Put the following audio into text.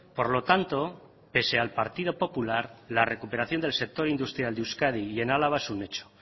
por lo tanto pese al partido popular la recuperación del sector industrial de euskadi y en álava es un hecho